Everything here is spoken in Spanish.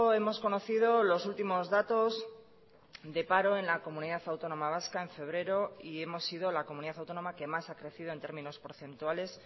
hemos conocido los últimos datos de paro en la comunidad autónoma vasca en febrero y hemos sido la comunidad autónoma que más ha crecido en términos porcentuales